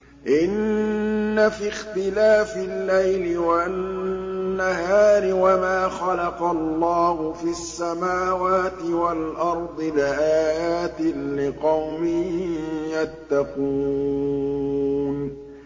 إِنَّ فِي اخْتِلَافِ اللَّيْلِ وَالنَّهَارِ وَمَا خَلَقَ اللَّهُ فِي السَّمَاوَاتِ وَالْأَرْضِ لَآيَاتٍ لِّقَوْمٍ يَتَّقُونَ